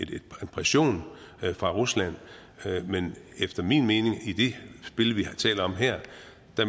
pression fra ruslands side men i det spil vi taler om her